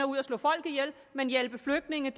ud at slå folk ihjel men hjælpe flygtninge